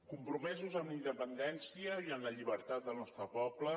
compromesos amb la independència i amb la llibertat del nostre poble